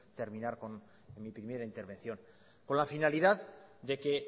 terminar con mi primera intervención con la finalidad de que